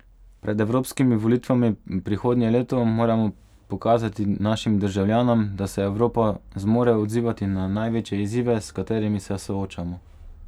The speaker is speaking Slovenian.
Pred evropskimi volitvami prihodnje leto moramo pokazati našim državljanom, da se Evropa zmore odzivati na največje izzive, s katerimi se soočamo.